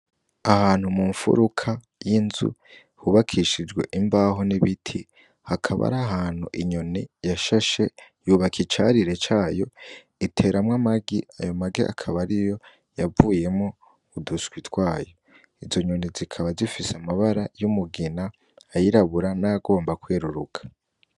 Ahantu mu mfuruka y'inzu hubakishijwe imbaho n'ibiti hakaba arahantu inyoni yashashe yubaka icarire cayo iteramw 'amagi ,ayo magi akaba ariyo yavuyemwo uduswi twayo, izo nyoni zikaba zifis'ibara y'umugina, ayirabura nayagomba kweruruka.